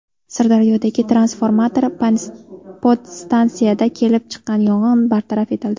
Sirdaryodagi transformator podstansiyasida kelib chiqqan yong‘in bartaraf etildi.